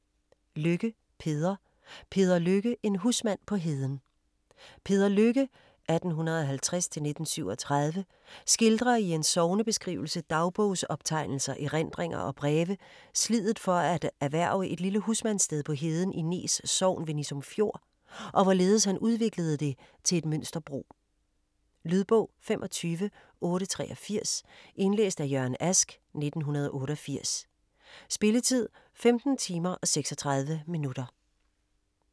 Lykke, Peder: Peder Lykke - en husmand på heden Peder Lykke (1850-1937) skildrer i en sognebeskrivelse, dagbogsoptegnelser, erindringer og breve sliddet for at erhverve et lille husmandssted på heden i Nees sogn ved Nissum Fjord, og hvorledes han udviklede det til et mønsterbrug. Lydbog 25883 Indlæst af Jørgen Ask, 1988. Spilletid: 15 timer, 36 minutter.